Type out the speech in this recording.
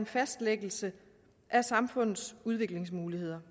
fastlæggelse af samfundets udviklingsmuligheder